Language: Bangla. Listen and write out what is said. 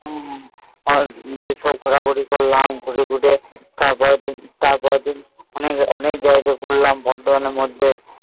আর ঘোড়া ঘড়ি করলাম ঘুরে ঘুরে তার পরে দিন পড়লাম মধ্যে